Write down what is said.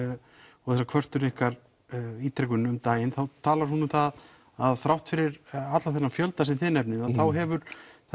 og þessa kvörtun ykkar ítrekum um daginn þá talar hún um það að þrátt fyrir allan þennan fjölda sem þið nefnið þá hefur